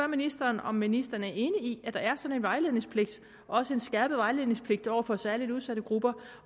ministeren om ministeren er enig i at der er sådan en vejledningspligt også en skærpet vejledningspligt over for særlig udsatte grupper